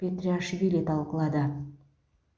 петриашвили талқылады